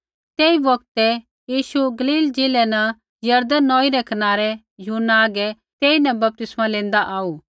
तेई बौगतै यीशु गलील ज़िलै न यरदन नौई रै कनारै यूहन्ना हागै तेईन बपतिस्मा लैंदा आऊ